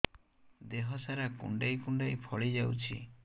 ଦେହ ସାରା କୁଣ୍ଡାଇ କୁଣ୍ଡାଇ ଫଳି ଯାଉଛି